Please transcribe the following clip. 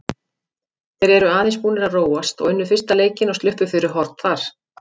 Þeir eru aðeins búnir að róast og unnu fyrsta leikinn og sluppu fyrir horn þar.